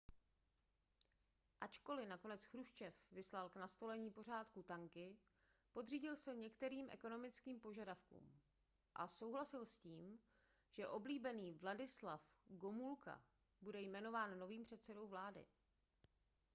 ačkoliv nakonec chruščev vyslal k nastolení pořádku tanky podřídil se některým ekonomickým požadavkům a souhlasil s tím že oblíbený wladyslaw gomulka bude jmenován novým předsedou vlády